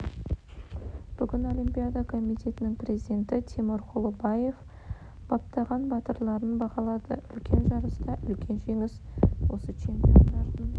бүгін олимпиада комитетінің президенті тимур құлыбаев баптаған батырларын бағалады үлкен жарыста үлкен жеңіс осы чемпиондардың